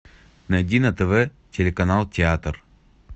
найди на тв телеканал театр